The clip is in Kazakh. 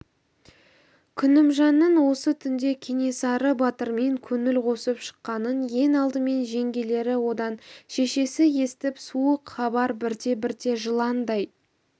күнімжанның осы түнде кенесары батырмен көңіл қосып шыққанын ең алдымен жеңгелері одан шешесі естіп суық хабар бірте-бірте жыландай